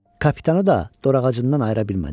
Kapitanı da dorağacından ayıra bilmədik.